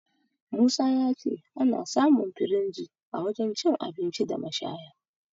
Musa ya ce ana samun firinji a wajen cin abinci da mashaya..